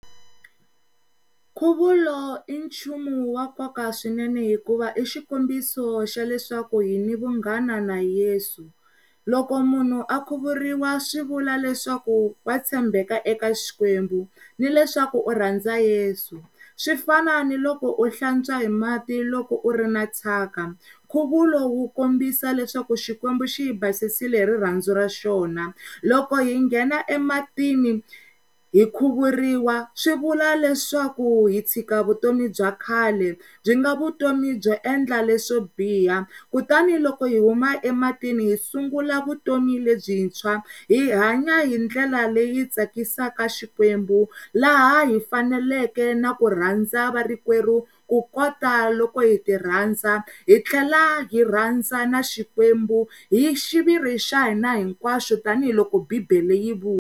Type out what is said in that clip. Nkhuvulo i nchumu wa nkoka swinene hikuva i xikombiso xa leswaku hini vunghana na Yeso. Loko munhu a khuvuriwa swivulwa leswaku wa tshembeka eka xikwembu ni leswaku u rhandza Yesu, swifaniso ni loko u hlantswa hi mati loko u ri na thyaka. Nkhuvulo wu kombisa leswaku xikwembu xi hi basisile hi rirhandzu ra xona loko hi nghena ematini hi khuvuriwa swi vula leswaku hi tshiika vutomi bya khale swi nga vutomi byo endla leswo biha kutani loko hi huma emitini hi sungula vutomi lebyintshwa hi hanya hi ndlela leyi tsakisaka Xikwembu laha hi faneleke na ku rhandza va rikwerhu ku kota loko hi ti rhandza hi tlhela hi rhandza na xikwembu hi xiviri xa hina hinkwaxo tanihiloko bibele yi vula.